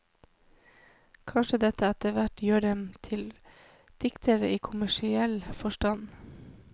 Kanskje dette etterhvert gjør dem til diktere i kommersiell forstand.